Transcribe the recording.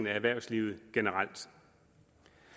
erhvervslivet generelt